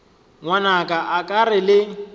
ngwanaka a ke re le